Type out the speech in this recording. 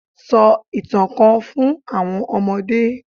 Sọ ìtàn kan fun àwọn ọmọdé